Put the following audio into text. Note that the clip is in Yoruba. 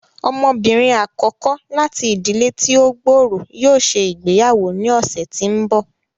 Ọmọbinrin akọkọ láti ìdílé ti o gb'ọrọ yóò ṣe ìgbéyàwó ní ọsẹ tí n bọ.